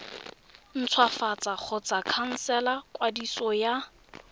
ntshwafatsa kgotsa khansela kwadiso ya